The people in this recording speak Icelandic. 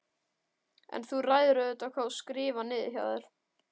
En þú ræður auðvitað hvað þú skrifar niður hjá þér.